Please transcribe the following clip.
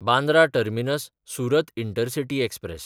Bandra टर्मिनस–सुरत intercity express